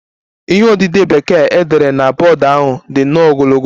Ihe odide Bekee e dere na bọọdụ ahụ dị nnọọ ogologo